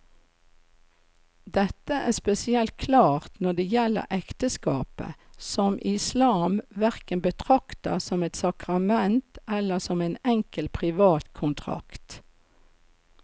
Dette er spesielt klart når det gjelder ekteskapet, som islam hverken betrakter som et sakrament eller som en enkel privat kontrakt.